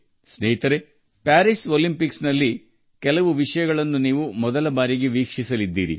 ಸ್ನೇಹಿತರೆ ಪ್ಯಾರಿಸ್ ಒಲಿಂಪಿಕ್ಸ್ನಲ್ಲಿ ನೀವು ಮೊದಲ ಬಾರಿಗೆ ಕೆಲವು ವಿಷಯಗಳಿಗೆ ಸಾಕ್ಷಿಯಾಗುತ್ತೀರಿ